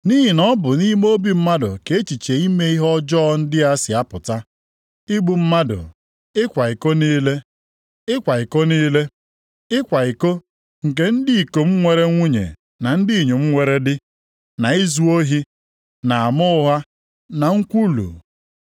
Nʼihi na ọ bụ nʼime obi mmadụ ka echiche ime ihe ọjọọ ndị a si apụta: igbu mmadụ, ịkwa iko niile, ịkwa iko nke ndị ikom nwere nwunye na ndị inyom nwere di, na izu ohi, na ama ụgha, na nkwulu.